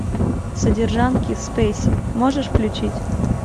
содержанки спейси можешь включить